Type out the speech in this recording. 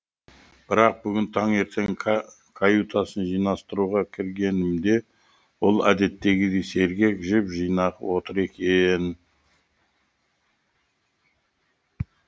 бірақ бүгін таңертең каютасын жинастыруға кіргенімде ол әдеттегідей сергек жып жинақы отыр екен